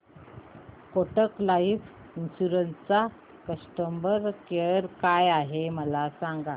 Kotak life insurance चा customer care काय आहे मला सांगा